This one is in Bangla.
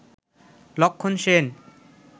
লক্ষন সেন